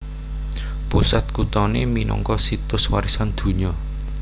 Pusat kuthané minangka Situs Warisan Donya